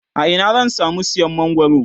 a Ina zan samu siyan mangwaro?